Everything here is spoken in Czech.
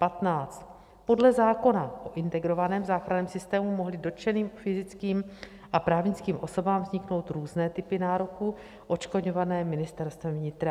Podle zákona o Integrovaném záchranném systému mohly dotčeným fyzickým a právnickým osobám vzniknout různé typy nároků, odškodňované Ministerstvem vnitra.